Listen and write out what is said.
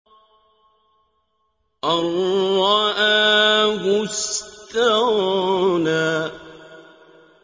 أَن رَّآهُ اسْتَغْنَىٰ